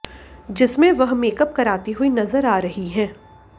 जिसमें वह मेकअप कराती हुई नजर आ रही हैं